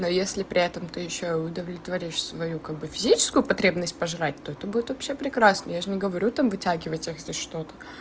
но если при этом то ещё удовлетворишь свою как бы физическую потребность пожрать то это будет вообще прекрасно я же не говорю там вытягивать если что-то